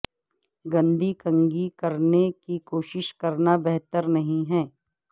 گندی کنگھی کرنے کی کوشش کرنا بہتر نہیں ہے